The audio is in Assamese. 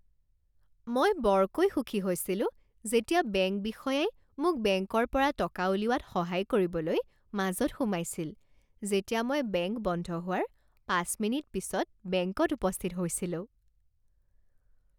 মই বৰকৈ সুখী হৈছিলো যেতিয়া বেংক বিষয়াই মোক বেংকৰ পৰা টকা উলিওৱাত সহায় কৰিবলৈ মাজত সোমাইছিল যেতিয়া মই বেংক বন্ধ হোৱাৰ পাঁচ মিনিট পিছত বেংকত উপস্থিত হৈছিলো।